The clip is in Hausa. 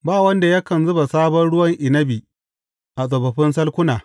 Ba wanda yakan zuba sabon ruwan inabi a tsofaffin salkuna.